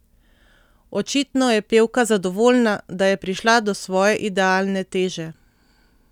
Očitno je pevka zadovoljna, da je prišla do svoje idealne teže.